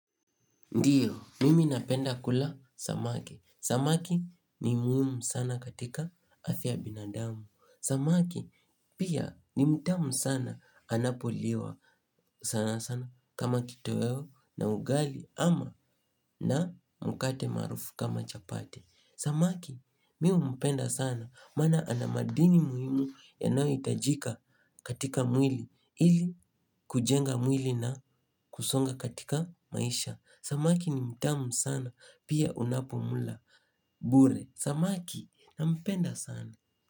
Ndio, mimi napenda kula samaki. Samaki ni muhimu sana katika afya ya binadamu. Samaki pia ni mtamu sana anapoliwa sana sana kama kitoweo na ugali ama na mkate maarufu kama chapati. Samaki, mi umpenda sana maana ana madini muhimu yanayoitajika katika mwili ili kujenga mwili na kusonga katika maisha. Samaki ni mtamu sana. Pia unapomla Bure Samaki Nampenda sana.